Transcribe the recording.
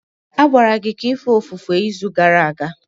A gwara gị ka ị fee ofufe izu gara aga.